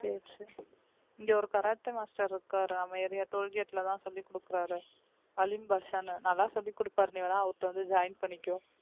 சரி சரி இங்க ஒரு கராத்தே master இருக்காரு நம்ம area toll gate லதான் சொல்லிக் கொடுக்கிறாரு அலீம் பாஷான்னு நல்லா சொல்லிக் கொடுப்பார் நீ வேணா அவர் கிட்ட வந்து join பண்ணிக்கோ